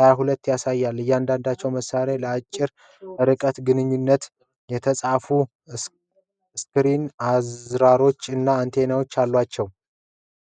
22 ያሳያሉ። እያንዳንዳቸው መሳሪያዎች ለአጭር ርቀት ግንኙነት የተነደፈ ስክሪን፣ አዝራሮች እና አንቴና አላቸው።